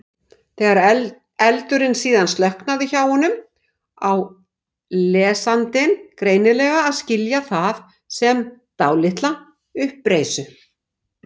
Þegar eldurinn síðan slokknar hjá honum á lesandinn greinilega að skilja það sem dálitla uppreisn.